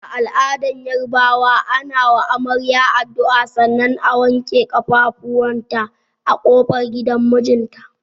A al'adar Yarabawa, ana wa amarya addu'a sannan a wanke kafafunta a kofar gidan mijinta.